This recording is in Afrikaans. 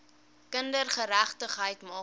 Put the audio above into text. kindergeregtigheid maak daarvoor